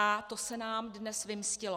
A to se nám dnes vymstilo.